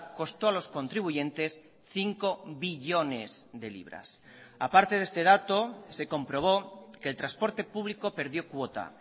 costó a los contribuyentes cinco billones de libras aparte de este dato se comprobó que el transporte público perdió cuota